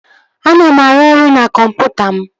Ana m arụ ọrụ na kọmputa m